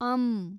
ಅಂ